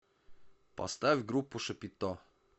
поставь группу шапито